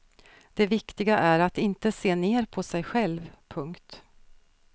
Det viktiga är att inte se ner på sig själv. punkt